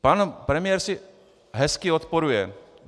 Pan premiér si hezky odporuje.